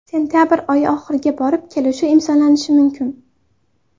Sentabr oyi oxiriga borib kelishuv imzolanishi mumkin.